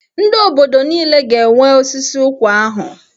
Ndị obodo niile ga-enwe osisi ụkwa ahụ.